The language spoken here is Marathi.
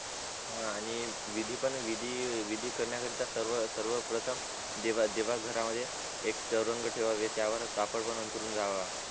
हा आणि विधी पण विधी विधी करण्या करीत सर्व सर्व प्रथम देवा घर मध्ये एक चवरंग ठेवावे त्यावर कापड पण आंथरुन घ्यावा